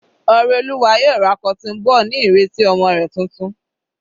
Oreoluwa yóò ra cotton ball ní ìrètí ọmọ rẹ̀ titun.